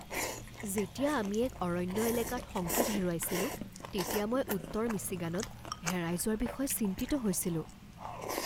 যেতিয়া আমি এক অৰণ্য় এলেকাত সংকেত হেৰুৱাইছিলোঁ তেতিয়া মই উত্তৰ মিচিগানত হেৰাই যোৱাৰ বিষয়ে চিন্তিত হৈছিলোঁ ।